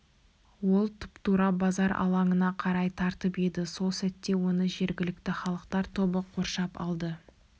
ол тұп-тура базар алаңына қарай тартып еді сол сәтте оны жергілікті халықтар тобы қоршап алды